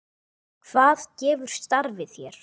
Hvað gefur starfið þér?